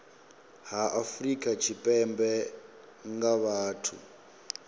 ha afrika tshipembe nga vhathu